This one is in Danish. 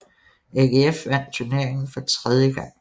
AGF vandt turneringen for tredje gang